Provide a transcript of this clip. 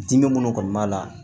Dimi minnu kɔni b'a la